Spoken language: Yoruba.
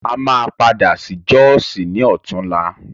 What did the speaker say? A máa padà sí jọ́sì ní ọ̀túnla.